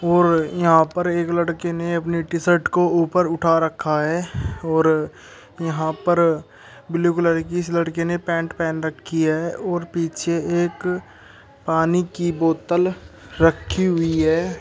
और यहां पर एक लड़के ने अपनी टी-शर्ट को ऊपर उठा रखा है और यहां पर ब्लू कलर की इस लड़के ने पैंट पहन रखी है और पीछे एक पानी की बोतल रखी हुई है।